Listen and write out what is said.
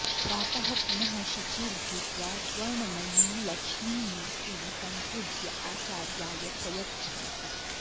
प्रातः पुनः शिचिर्भूत्वा स्वर्णमयीं लक्ष्मीमूर्तिं सम्पूज्य आचार्याय प्रयच्छन्ति